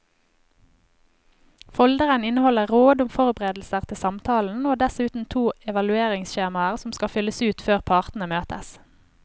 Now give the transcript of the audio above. Folderen inneholder råd om forberedelser til samtalen og dessuten to evalueringsskjemaer som skal fylles ut før partene møtes.